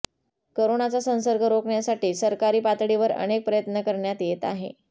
करोनाचा संसर्ग रोखण्यासाठी सरकारी पातळीवर अनेक प्रयत्न करण्यात येत आहे